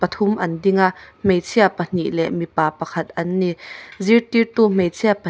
pathum an ding a hmeichhia pahnih leh mipa pakhat an ni zirtirtu hmeichhia pa--